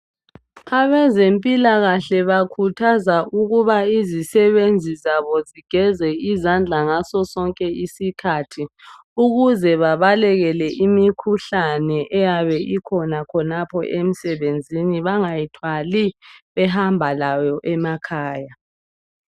Abezempilakahle bakuthazwa ukuba izisebenzi zabo zigeze isandla ngaso sonke osikhathi ukuze babalekele imikhuhlane eyabe ikhona khonapho emsebenzini bangayithwali behambalayo emakhaya